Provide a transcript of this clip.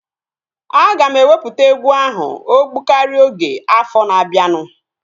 Aga m ewepụta egwu ahụ ogbụkaria oge afọ na-abianu